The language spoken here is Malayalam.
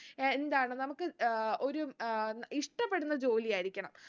എ എന്താണ് നമുക്ക് ഏർ ഒരു ഏർ ഇഷ്ട്ടപെടുന്ന ജോലിയായിരിക്കണം